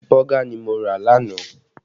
Bọ́gà ni mo rà lánàá